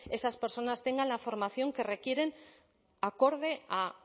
esas personas tengan la formación que requieren acorde a